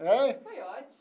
Foi ótimo.